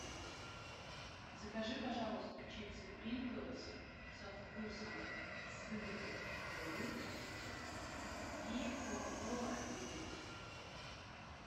закажи пожалуйста чипсы принглс со вкусом сыра и лука и кока кола один литр